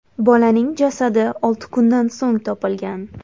Bolaning jasadi olti kundan so‘ng topilgan.